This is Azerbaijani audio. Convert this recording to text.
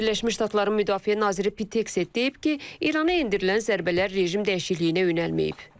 Birləşmiş Ştatların Müdafiə naziri Pit Eksent deyib ki, İrana endirilən zərbələr rejim dəyişikliyinə yönəlməyib.